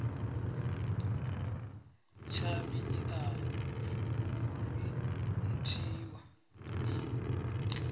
tshavhi i a phurinthiwa i